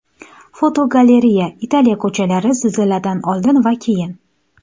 Fotogalereya: Italiya ko‘chalari zilziladan oldin va keyin.